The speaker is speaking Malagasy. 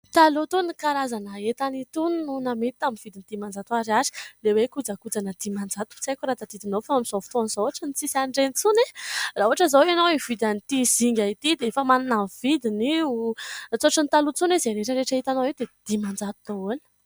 Taloha itony karazana entana itony no namidy tamin'ny dimanjato ariary ; ilay hoe jokakoja ana dimanjato tsy haiko raha tadidinao fa amin'izao fotona izao ohatran'ny tsy misy an'ireny intsony e ! Raha ohatra izao ianao hividy an'ity zinga ity dia efa manana ny vidiny io. Efa tsy ohatra ny taloha intsony hoe izay rehetrarehetra itanao eto dia dimanjato daholo.